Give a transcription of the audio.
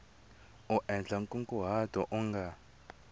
u endla nkunguhato u nga